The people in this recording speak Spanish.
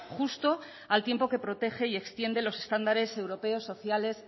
justo al tiempo que protege y extiende los estándares europeos sociales